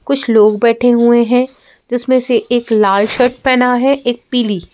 कुछ लोग बैठे हुए हैं जिसमें से एक लाल शर्ट पहना है एक पीली।